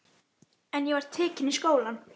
En ég var tekin í skólann.